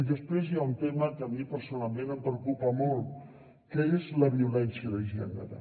després hi ha un tema que a mi personalment em preocupa molt que és la violència de gènere